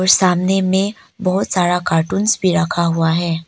सामने में बहुत सारा कार्टूंस भी रखा हुआ है।